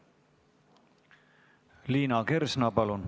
Liina Kersna, palun!